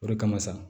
O de kama sa